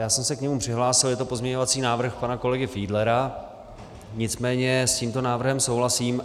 Já jsem se k němu přihlásil, je to pozměňovací návrh pana kolegy Fiedlera, nicméně s tímto návrhem souhlasím.